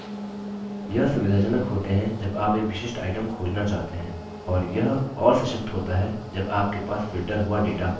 यह सुविधाजनक होते हैं जब आप एक विशिष्ट item खोजना चाहते हैं और यह और सशक्त होता है जब आपके पास filtered हुआ data होता है